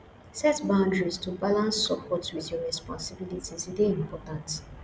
set boundaries to balance support with your responsibilities e dey important